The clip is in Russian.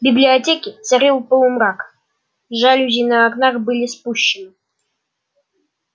в библиотеке царил полумрак жалюзи на окнах были спущены